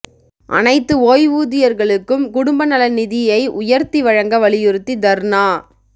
அனைத்து ஓய்வூதியர்களுக்கும் குடும்ப நல நிதியை உயர்த்தி வழங்க வலியுறுத்தி தர்ணா